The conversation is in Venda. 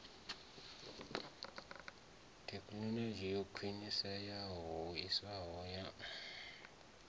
thekhinolodzhi yo khwiniseaho hoisiso ya